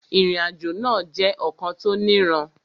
Ìrìnàjò náà jẹ́ ọ̀kan tó niran